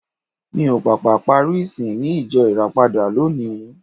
Mi ò pàpà parí ìsìn ní ìjọ Ìràpadà lónìí.